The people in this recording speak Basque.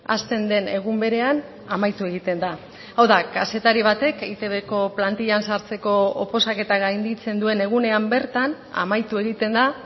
hasten den egun berean amaitu egiten da hau da kazetari batek eitbko plantillan sartzeko oposaketa gainditzen duen egunean bertan amaitu egiten da